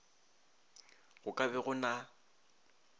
go ka be go na